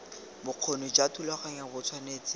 bokgoni jwa thulaganyo bo tshwanetse